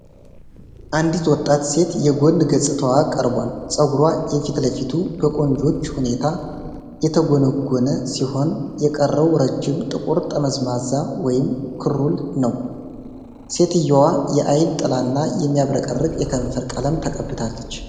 አንዲት ወጣት ሴት የጎን ገጽታዋ ቀርቧል። ፀጉሯ የፊት ለፊቱ በቆንጆ ሁኔታ የተጎነጎነ ሲሆን የቀረው ረጅም ጥቁር ጠመዝማዛ (ክሩል) ነው። ሴትየዋ የዐይን ጥላ እና የሚያብረቀርቅ የከንፈር ቀለም ተቀብታለች።